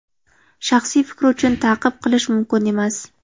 Shaxsiy fikri uchun ta’qib qilish mumkin emas.